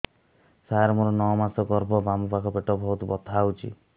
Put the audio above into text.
ସାର ମୋର ନଅ ମାସ ଗର୍ଭ ବାମପାଖ ପେଟ ବହୁତ ବଥା ହଉଚି